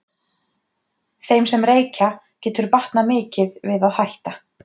þeim sem reykja getur batnað mikið við að hætta